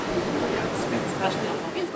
Xeyir, Yoxdur.